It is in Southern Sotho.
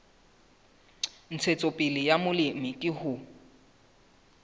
ntshetsopele ya molemi ke ho